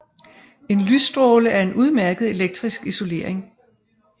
En lysstråle er en udmærket elektrisk isolering